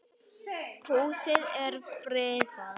Húsið er friðað.